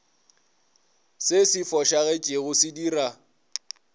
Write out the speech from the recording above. se se fošagetšego se dira